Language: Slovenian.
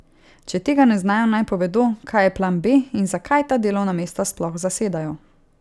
Če tega ne znajo, naj povedo, kaj je plan B in zakaj ta delovna mesta sploh zasedajo.